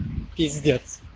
пиздец